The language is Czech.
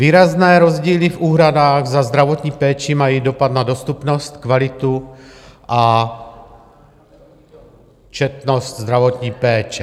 Výrazné rozdíly v úhradách za zdravotní péči mají dopad na dostupnost, kvalitu a četnost zdravotní péče.